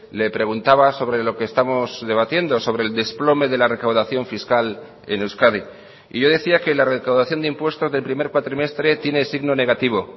le preguntaba sobre lo que estamos debatiendo sobre el desplome de la recaudación fiscal en euskadi y yo decía que la recaudación de impuestos del primer cuatrimestre tiene signo negativo